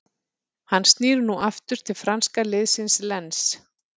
Hann snýr nú aftur til franska liðsins Lens.